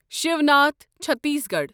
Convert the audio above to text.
Shivnath Chhattisgarh